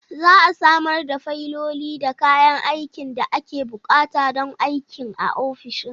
Za a samar da fayiloli da kayan aikin da ake buƙata don aikin a ofishin.